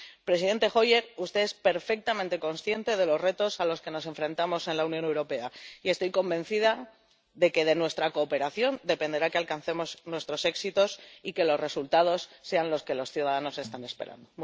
Presidente Hoyer, usted es perfectamente consciente de los retos a los que nos enfrentamos en la Unión Europea y estoy convencida de que de nuestra cooperación dependerá que alcancemos nuestros éxitos y que los resultados sean los que los ciudadanos están esperando.